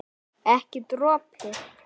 Ekki dropi.